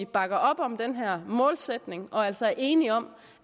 bakker op om den her målsætning og altså er enige om